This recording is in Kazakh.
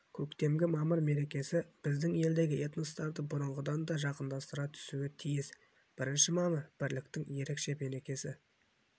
көктемгі мамыр мерекесі біздің елдегі этностарды бұрынғыдан да жақындастыра түсуі тиіс бірінші мамыр бірліктің ерекше мерекесі